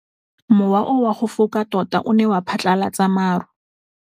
Mowa o wa go foka tota o ne wa phatlalatsa maru.